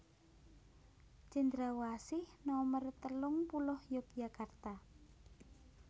Cendrawasih nomer telung puluh Yogyakarta